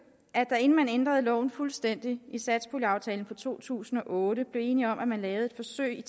at man inden man ændrede loven fuldstændig satspuljeaftalen for to tusind og otte blev enige om at lave et forsøg